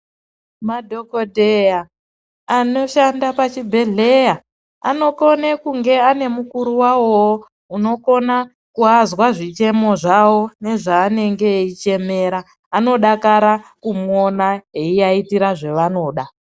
Madhokodheya anoshanda pachibhedhlera anogone kunge anemukuru wavowo unogone kuvanzwa zvichemo zvawo nezvaanenge echichemera, anodakara kumuona eiaitira zvaanoda.